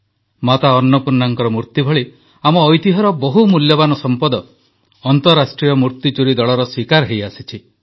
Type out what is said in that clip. ମାତା ଅନ୍ନପୂର୍ଣ୍ଣାଙ୍କ ମୂର୍ତ୍ତି ଭଳି ଆମର ଐତିହ୍ୟର ବହୁ ମୂଲ୍ୟବାନ ସମ୍ପଦ ଅନ୍ତରାଷ୍ଟ୍ରୀୟ ମୂର୍ତ୍ତିଚୋରୀ ଦଳର ଶୀକାର ହୋଇଆସିଛି